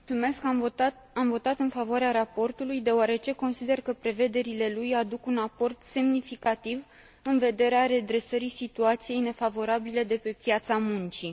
Am votat în favoarea raportului deoarece consider că prevederile lui aduc un aport semnificativ în vederea redresării situației nefavorabile de pe piața muncii.